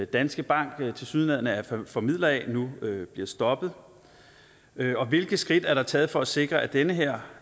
danske bank tilsyneladende er formidler af nu bliver stoppet hvilke skridt er der taget for at sikre at den her